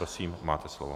Prosím, máte slovo.